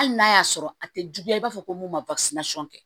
Hali n'a y'a sɔrɔ a tɛ juguya i b'a fɔ ko mun ma